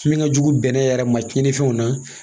Min ka jugu bɛnɛ yɛrɛ ma tiɲɛnifɛnw na